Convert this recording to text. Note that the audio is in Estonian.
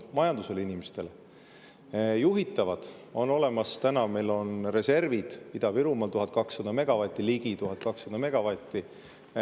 Juhitavatest on meil olemas täna reservid Ida-Virumaal: ligi 1200 megavatti.